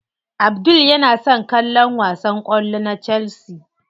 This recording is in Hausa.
Abdul yana son kallon wasan kwallo na chelsea.